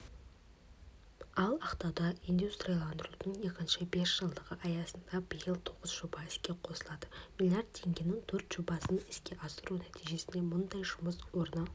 ал ақтауда индустрияландырудың екінші бесжылдығы аясында биыл тоғыз жоба іске қосылады млрд теңгенің төрт жобасын іске асыру нәтижесінде мыңдай жұмыс орны